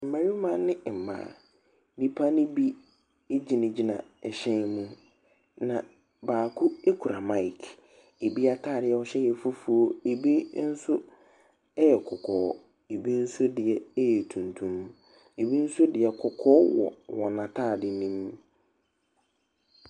Mmarima ne mmaa. Nnipa ne bi egyina gyina ɛhyɛn mu. Na baako ekura maek. Ebi ataare a wɔhyɛ yɛ fufuo, ebi nso ɛyɛ kɔkɔɔ, ebi nso deɛ ɛyɛ tuntum, ebi nso deɛ kɔkɔɔ wɔ n'ataade nom.